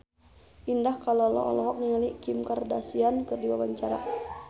Indah Kalalo olohok ningali Kim Kardashian keur diwawancara